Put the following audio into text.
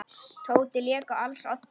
Tóti lék á als oddi.